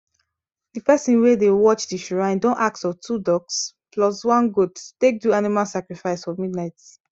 the person wey dey watch the shrine don ask of two ducks plus one goat to take do animal sacrifice for midnight